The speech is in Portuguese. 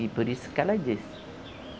E por isso que ela disse.